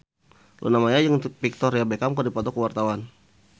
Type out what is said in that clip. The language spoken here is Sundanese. Luna Maya jeung Victoria Beckham keur dipoto ku wartawan